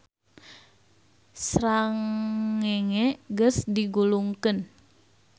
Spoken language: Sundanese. Srangenge geus digulungkeun